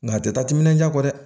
Nka a tɛ taa timinandiya kɔ dɛ